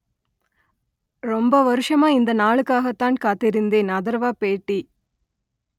ரொம்ப வருஷமா இந்த நாளுக்காகத்தான் காத்திருந்தேன் அதர்வா பேட்டி